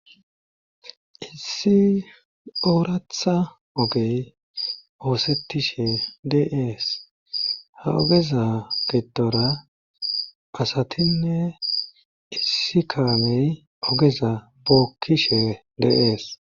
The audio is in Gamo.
issi ooratha ogey oosettishe deees ha ogeza gidora asatinne issi kaamey ogeza bookkishe deees